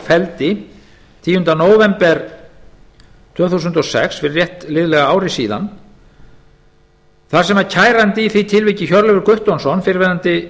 felldi tíunda nóvember tvö þúsund og sex fyrir rétt liðlega ári síðan í máli þar sem kæranda í því tilviki hjörleifi guttormssyni fyrrverandi